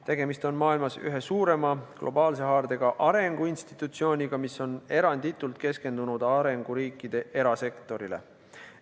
Tegemist on maailmas ühe suurema globaalse haardega arenguinstitutsiooniga, mis on eranditult keskendunud arenguriikide erasektorile.